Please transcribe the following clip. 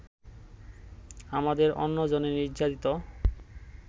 আমাদের অন্যজনের নির্যাতিত